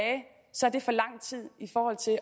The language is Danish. sådan